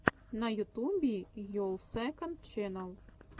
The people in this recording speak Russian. на ютубе йолл сэконд ченнал